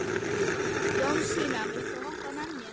Jónasína, viltu hoppa með mér?